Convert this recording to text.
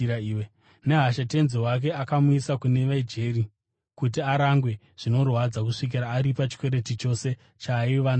Nehasha tenzi wake akamuisa kune vejeri kuti arangwe zvinorwadza kusvikira aripa chikwereti chose chaaiva nacho.